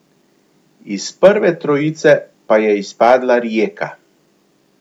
Iz prve trojice pa je izpadla Rijeka.